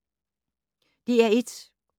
DR1